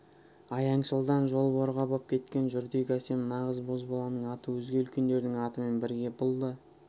аяңшылдан жол жорға боп кеткен жүрдек әсем нағыз бозбаланың аты өзге үлкендердің атымен бірге бұл да